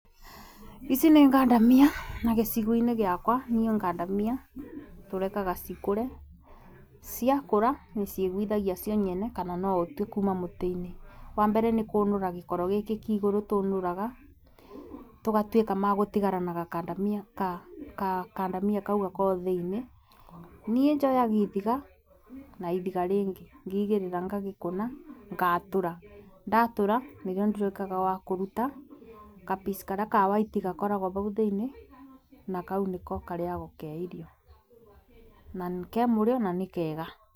Ici nĩ ngandamia na gĩcigo-inĩ gĩakwa, niĩ ngandamia tũreka cikũre, ciakure ciĩgũithagia cio nyene kana no ũtue kuma mũtĩ-inĩ. Wa mbere, nĩ kũnũra gĩkoro gĩkĩ kĩa igũrũ tũnũraga, tũgatuĩka magũtigara na gakandamia, gakandamia kau gakoragwo thĩiniĩ, niĩ njoyaga ibiga na ibiga rĩngĩ ngaigĩrĩra ngagĩkũna ngatũra. Ndatũra nĩguo nduĩkaga wa kũruta ka piece karĩa kabwaiti gakoragwo bau thĩiniĩ, na kau nĩko karĩagwo ke irio na ke mũrĩo na nĩ kega.